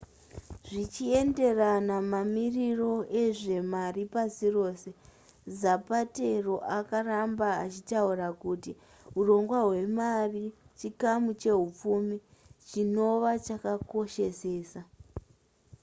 zvichienderana mamiriro ezvemari pasi rose zapatero akaramba achitaura kuti hurongwa hwemari chikamu chehupfumi chinova chakakoshesesa